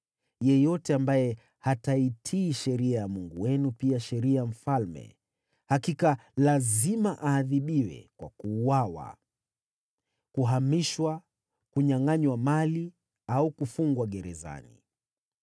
Yeyote ambaye hataitii sheria ya Mungu wenu pia sheria ya mfalme, hakika lazima aadhibiwe kwa kuuawa, kuhamishwa, kunyangʼanywa mali au kufungwa gerezani.